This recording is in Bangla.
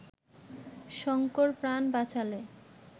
শঙ্কর প্রাণ বাঁচালে